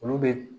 Olu bɛ